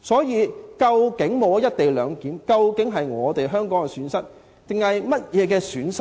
因此，沒有"一地兩檢"，究竟是香港的損失還是誰的損失？